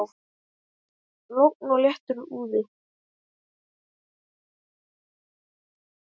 Logn og léttur úði.